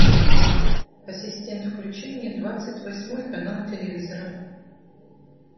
ассистент включи мне двадцать восьмой канал телевизора